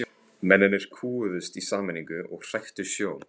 Mennirnir kúguðust í sameiningu og hræktu sjó.